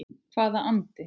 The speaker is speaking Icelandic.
Hvaða andi?